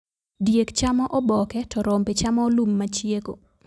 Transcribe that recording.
Diek chamo oboke to rombe chamo lum machieko.